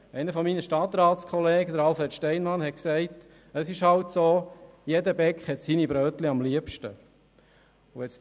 Einer meiner Stadtratskollegen, Alfred Steinmann, hat gesagt, es sei halt so, dass jeder Bäcker seine Brötchen am liebsten habe.